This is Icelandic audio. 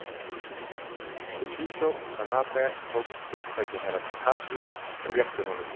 Toshizo Tanabe tók upp stjórntæki Herra Takashi og rétti honum.